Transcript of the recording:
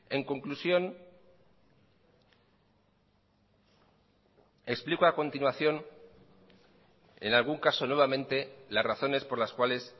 en conclusión explico a continuación en algún caso nuevamente las razones por las cuales